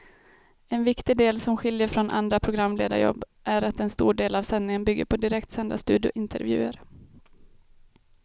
En viktig del som skiljer från andra programledarjobb är att en stor del av sändningen bygger på direktsända studiointervjuer.